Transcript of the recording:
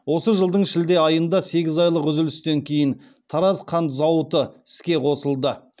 осы жылдың шілде айында сегіз айлық үзілістен кейін тараз қант зауыты іске қосылды